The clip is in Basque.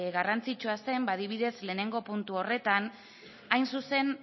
garrantzitsua den ba adibidez lehenengo puntu horretan hain zuzen